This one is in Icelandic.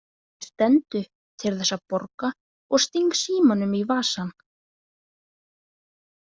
Ég stend upp til þess að borga og sting símanum í vasann.